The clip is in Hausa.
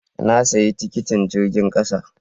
Na sayi tikitin jirgin kasa.